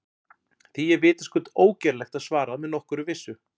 Því er vitaskuld ógerlegt að svara með nokkurri vissu.